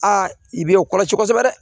Aa i b'i kɔlɔsi kosɛbɛ dɛ